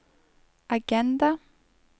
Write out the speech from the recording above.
agenda